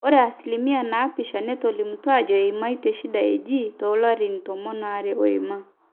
ore asilimia naapisha netolimutuo aajo eimaitie shida eaji toolapaitin tomon aare ooima